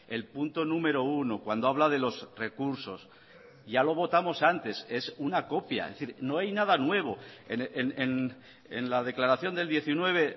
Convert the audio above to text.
el punto número uno cuando habla de los recursos ya lo votamos antes es una copia es decir no hay nada nuevo en la declaración del diecinueve